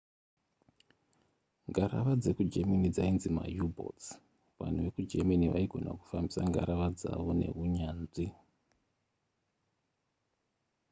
ngarava dzekugerman dzainzi mau-boats vanhu vekugermany vaigona kufambisa ngarava dzavo neunyanzvi